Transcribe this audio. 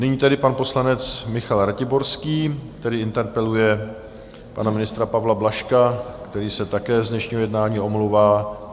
Nyní tedy pan poslanec Michal Ratiborský, tedy interpeluje pana ministra Pavla Blažka, který se také z dnešního jednání omlouvá.